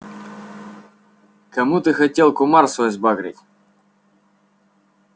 кому ты хотел кумар свой сбагрить